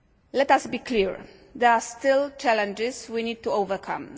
Let us be clear, there are still challenges we need to overcome.